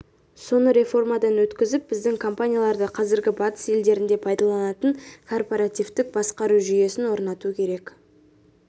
соны реформадан өткізіп біздің компанияларда қазір батыс елдерінде пайдаланылатын корпоративтік басқару жүйесін орнату керек